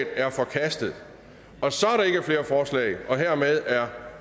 er forkastet og så er der ikke flere forslag og hermed er